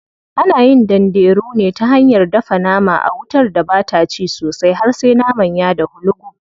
Ana yin danderu ne ta hanyar dafa nama a wutar da bata ci sosai har sai naman ya dahu lugub.